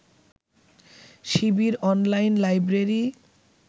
Shibir online library